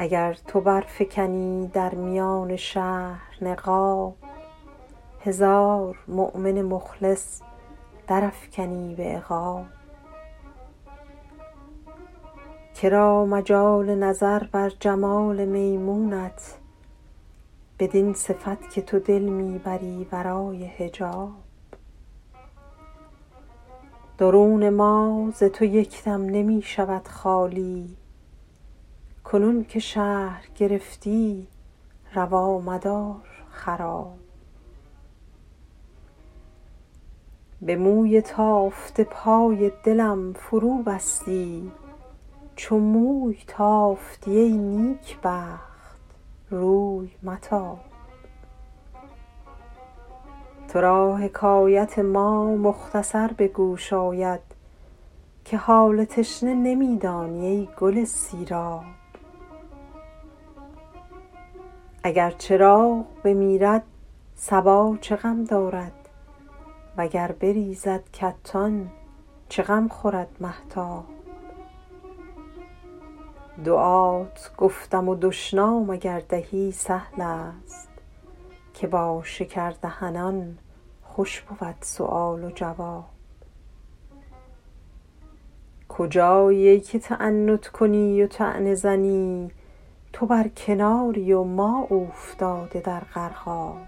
اگر تو برفکنی در میان شهر نقاب هزار مؤمن مخلص درافکنی به عقاب که را مجال نظر بر جمال میمونت بدین صفت که تو دل می بری ورای حجاب درون ما ز تو یک دم نمی شود خالی کنون که شهر گرفتی روا مدار خراب به موی تافته پای دلم فروبستی چو موی تافتی ای نیکبخت روی متاب تو را حکایت ما مختصر به گوش آید که حال تشنه نمی دانی ای گل سیراب اگر چراغ بمیرد صبا چه غم دارد و گر بریزد کتان چه غم خورد مهتاب دعات گفتم و دشنام اگر دهی سهل است که با شکردهنان خوش بود سؤال و جواب کجایی ای که تعنت کنی و طعنه زنی تو بر کناری و ما اوفتاده در غرقاب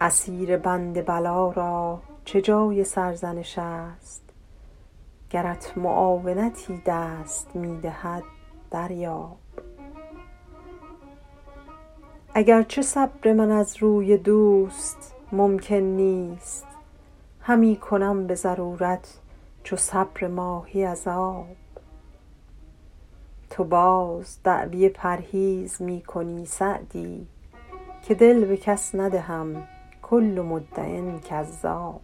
اسیر بند بلا را چه جای سرزنش است گرت معاونتی دست می دهد دریاب اگر چه صبر من از روی دوست ممکن نیست همی کنم به ضرورت چو صبر ماهی از آب تو باز دعوی پرهیز می کنی سعدی که دل به کس ندهم کل مدع کذاب